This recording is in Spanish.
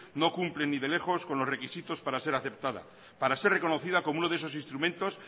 no cumple ni de lejos con los requisitos para ser aceptada para ser reconocida como uno de esos instrumentos